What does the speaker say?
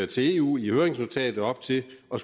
til eu i høringsnotatet op til at